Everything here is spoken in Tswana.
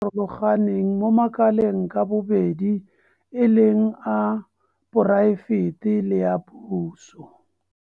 Farologaneng mo makaleng ka bobedi e leng a poraefete le a puso.